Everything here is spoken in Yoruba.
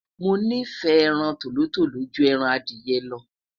mo nifẹ ẹran tòlótòló jù ẹran Adiye lo